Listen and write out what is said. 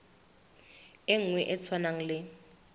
e nngwe e tshwanang le